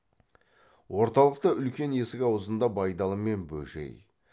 орталықта үлкен есік аузында байдалы мен бөжей